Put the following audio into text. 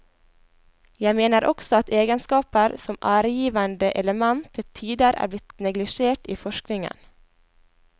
Jeg mener også at egenskaper som æregivende element til tider er blitt neglisjert i forskningen.